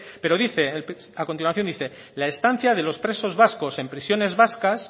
pero dice a continuación dice la estancia de los presos vascos en prisiones vascas